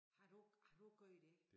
Har du har du gjort det?